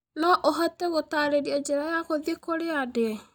no ũhote gũtaarĩria njĩra ya gũthiĩ kũrĩa ndĩ